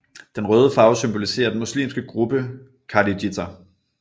Den røde farve symboliserer den muslimske gruppe kharijiter